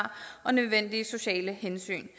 og nødvendige sociale hensyn